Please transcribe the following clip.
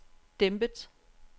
dæmpet